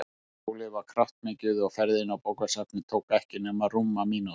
Hjólið var kraftmikið og ferðin á bókasafnið tók ekki nema rúma mínútu.